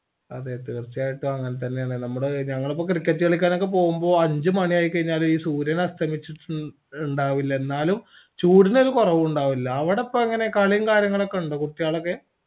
അതെ തീർച്ചയായിട്ടും അങ്ങൻ തന്നെയാണ് നമ്മടെ ഞങ്ങളൊക്കെ ഇപ്പൊ cricket കളിക്കാനൊക്കെ പോവുമ്പോ സൂര്യൻ അസ്തമിചിട്ട്ടുണ്ടാവൂല എന്നാലും ചൂടിന് ഒരു കുറവും ഉണ്ടാവൂല